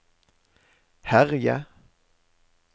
herje